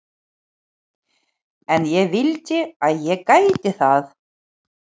En ég vildi að ég gæti það.